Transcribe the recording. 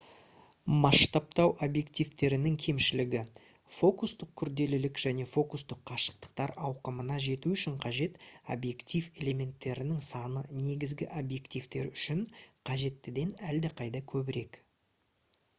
масштабтау объективтерінің кемшілігі фокустық күрделілік және фокустық қашықтықтар ауқымына жету үшін қажет объектив элементтерінің саны негізгі объективтер үшін қажеттіден әлдеқайда көбірек